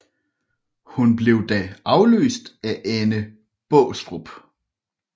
Hun blev da afløst af Anne Baastrup